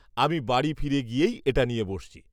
আমি বাড়ি ফিরে গিয়েই এটা নিয়ে বসছি।